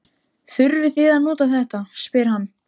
Þurfið þið að nota þetta? spyr hann.